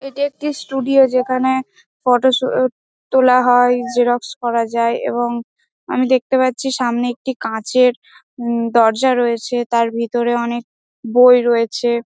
এটি একটি ষ্টুডিও যেখানে ফটো শুট তোলা হয় জেরক্স করা যায় এবং আমি দেখতে পাচ্ছি সামনে একটি কাঁচের উ দরজা রয়েছে তার ভেতরে অনেক বই রয়েছে।